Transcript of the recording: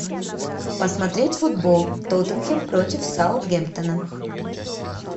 посмотреть футбол тоттенхэм против саутгемптона